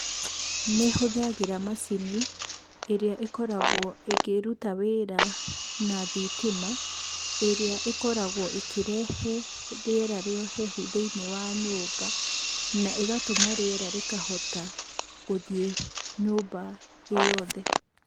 Nĩ hũthagĩra macini, ĩrĩa ĩkoragwo ĩkĩruta wĩra na thitima, ĩrĩa ĩkoragwo ĩkĩrehe rĩera rĩa ũhehu thĩinĩ wa nyũmba, na ũgatũma rĩera rĩkahota gũthiĩ nyũmba ĩyothe.